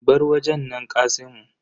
Bar wajen nan kasimu.